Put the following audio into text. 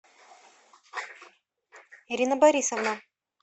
ирина борисовна